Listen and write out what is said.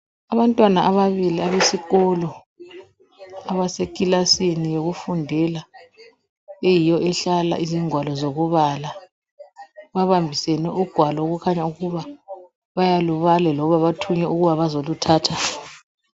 Abantwana ababili abesikolo abasekilasini yokufundela eyiyo ehlala izingwalo zokubala, babambisane ugwalo okukhanya ukuthi bayalubala loba bathunywe ukuba bazoluthatha.